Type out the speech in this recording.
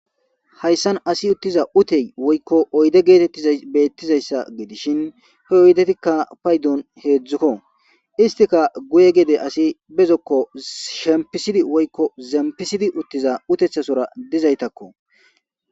Hayssan assi uttiza uththe woykko oydde gethethiza bethizayssa gidishin he oudetjikka payddon hezzukko isthikka guye gedde assi be zokko shemisidi woykko zempisidi uthiza uthethasora dizzaythakko.